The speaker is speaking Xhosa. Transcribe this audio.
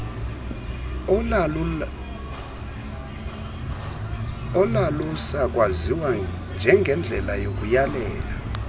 olalusakwaziwa njengendlela yokuyalela